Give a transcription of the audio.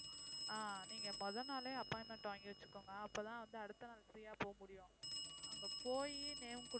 ஆஹ் நீங்க மொத நாளே appointment வாங்கி வச்சுக்குங்க அப்பதான் வந்து அடுத்த நாள் free யா போக முடியும் அங்க போயி name